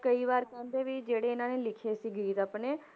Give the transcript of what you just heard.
ਕਈ ਵਾਰ ਕਹਿੰਦੇ ਵੀ ਜਿਹੜੇ ਇਹਨਾਂ ਨੇ ਲਿਖੇ ਸੀ ਗੀਤ ਆਪਣੇ,